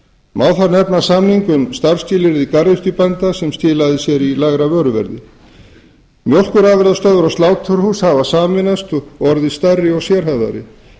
má þar nefna samning um starfsskilyrði garðyrkjubænda sem skilaði sér í lægra vöruverði mjólkurafurðastöðvar og sláturhús hafa sameinast og orðið stærri og sérhæfðari